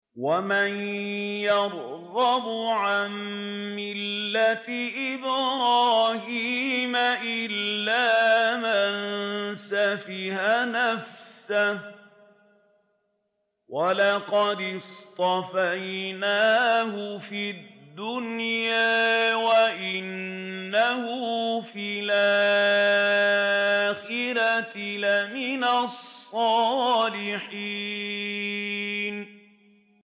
وَمَن يَرْغَبُ عَن مِّلَّةِ إِبْرَاهِيمَ إِلَّا مَن سَفِهَ نَفْسَهُ ۚ وَلَقَدِ اصْطَفَيْنَاهُ فِي الدُّنْيَا ۖ وَإِنَّهُ فِي الْآخِرَةِ لَمِنَ الصَّالِحِينَ